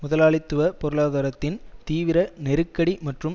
முதலாளித்துவ பொருளாதாரத்தின் தீவிர நெருக்கடி மற்றும்